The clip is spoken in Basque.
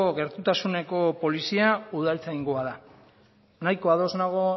gertutasuneko polizia udaltzaingoa da nahiko ados nago